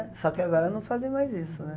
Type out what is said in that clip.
É, só que agora não fazem mais isso, né?